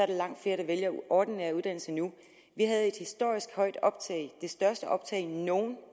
der langt flere der vælger ordinære uddannelser nu vi havde et historisk højt optag det største optag nogen